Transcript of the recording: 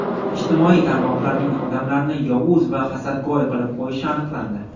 Ijtimoiy tarmoqlarning odamlarni yovuz va hasadgo‘y qilib qo‘yishi aniqlandi.